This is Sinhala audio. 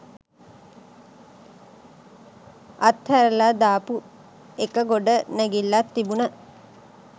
අත්හැරල දාපු එක ගොඩනැගිල්ලක් තිබුන